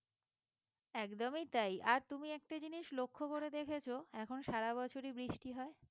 একদমই তাই আর তুমি একটা জিনিস লক্ষ্য করে দেখেছো এখন সারা বছরই বৃষ্টি হয়।